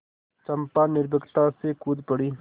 चंपा निर्भीकता से कूद पड़ी